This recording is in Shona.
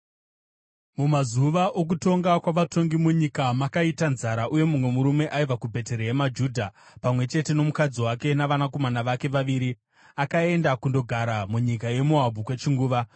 Mumazuva okutonga kwavatongi munyika makaita nzara, uye mumwe murume aibva kuBheterehema Judha, pamwe chete nomukadzi wake navanakomana vake vaviri, akaenda kundogara munyika yeMoabhu kwechinguva.